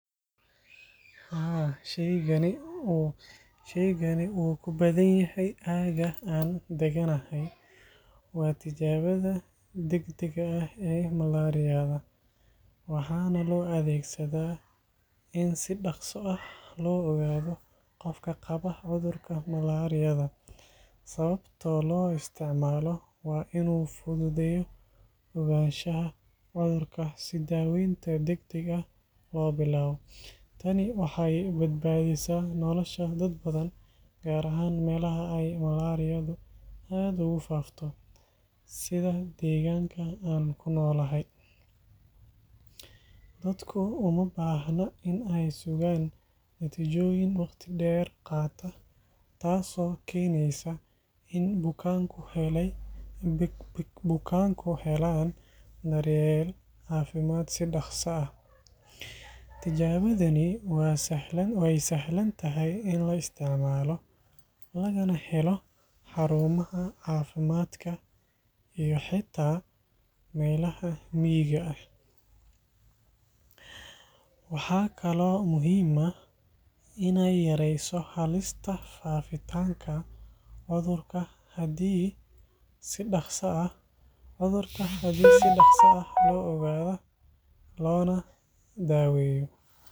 Haa, shaygani wuu ku badan yahay aagga aan deganahay. Waa tijaabada degdegga ah ee malaariyada, waxaana loo adeegsadaa in si dhaqso ah loo ogaado qofka qaba cudurka malaariyada. Sababta loo isticmaalo waa in uu fududeeyo ogaanshaha cudurka si daaweyn degdeg ah loo bilaabo. Tani waxay badbaadisaa nolosha dad badan, gaar ahaan meelaha ay malaariyadu aad ugu faafto sida deegaanka aan ku noolahay. Dadku uma baahna in ay sugaan natiijooyin waqti dheer qaata, taas oo keeneysa in bukaanku helaan daryeel caafimaad si dhakhso ah. Tijaabadani waa sahlan tahay in la isticmaalo, lagana helo xarumaha caafimaadka iyo xitaa meelaha miyiga ah. Waxaa kaloo muhiim ah in ay yarayso halista faafitaanka cudurka haddii si dhaqso ah loo ogaado loona daaweeyo.